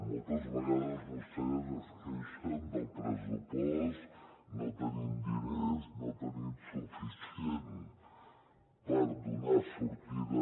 moltes vegades vostès es queixen del pressupost no tenim diners no tenim suficient per donar sortida